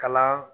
Kalan